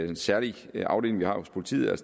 en særlig afdeling vi har hos politiet